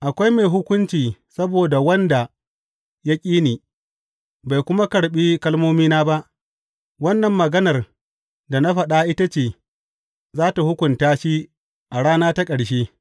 Akwai mai hukunci saboda wanda ya ƙi ni, bai kuma karɓi kalmomina ba; wannan maganar da na faɗa ita ce za tă hukunta shi a rana ta ƙarshe.